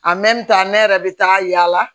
ne yɛrɛ bɛ taa yaala